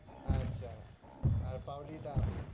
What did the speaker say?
আচ্ছা, আর পাওলি দাম,